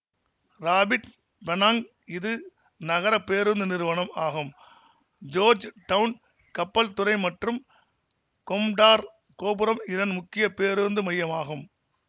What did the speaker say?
rapid Penang இது நகர பேருந்து நிறுவனம் ஆகும் ஜோர்ஜ் டவுன் கப்பல் துறை மற்றும் கொம்டார் கோபுரம் இதன் முக்கிய பேருந்து மையமாகும்